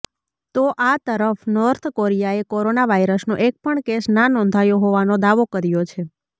તો આ તરફ નોર્થ કોરિયાએ કોરોના વાયરસનો એકપણ કેસ ના નોંધાયો હોવાનો દાવો કર્યો છે